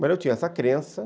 Mas eu tinha essa crença.